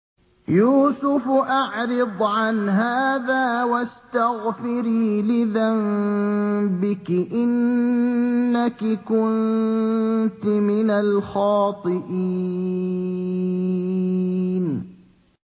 يُوسُفُ أَعْرِضْ عَنْ هَٰذَا ۚ وَاسْتَغْفِرِي لِذَنبِكِ ۖ إِنَّكِ كُنتِ مِنَ الْخَاطِئِينَ